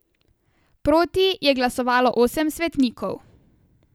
Proti je glasovalo osem svetnikov.